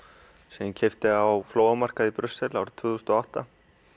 sem ég keypti á flóamarkaði í Brussel árið tvö þúsund og átta